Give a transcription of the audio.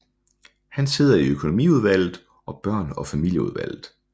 Han sidder i økonomiudvalget og børn og familieudvalget